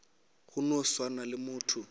go no swana le motho